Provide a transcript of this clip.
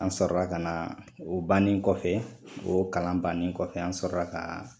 An sɔrɔra ka na o bannen kɔfɛ o kalan bannen kɔfɛ an sɔrɔra ka